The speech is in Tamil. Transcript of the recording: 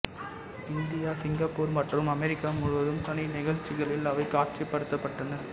இந்தியா சிங்கப்பூர் மற்றும் அமெரிக்கா முழுவதும் தனி நிகழ்ச்சிகளில் அவை காட்சிப்படுத்தப்பட்டன